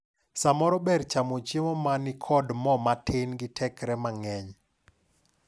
Samoro ber chamo chiemo manikod mo matin gi tekre mang`eny.